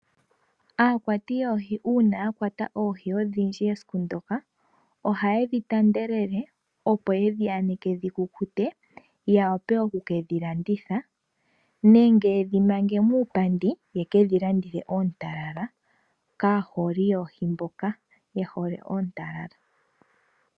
Aakwati yoohi uuna ya kwata oohi odhindji esiku ndoka ohaye dhitanda lela opo yedhi aneke dhi kukute ya vule okuke dhilanditha. Nenge yedhi mange muupandi yeke dhilandithe oontalala kaaholi yoohi mboka ye hole oontalala.